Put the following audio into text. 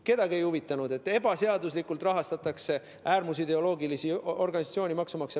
Kedagi ei huvitanud, et maksumaksja rahaga ebaseaduslikult rahastatakse äärmusideoloogilisi organisatsioone.